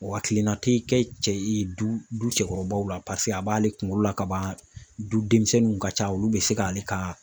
O hakilina te kɛ cɛ ye du du cɛkɔrɔbaw la paseke a b'ale kungolo la kaban du denmisɛnninw ka ca olu be se k'ale ka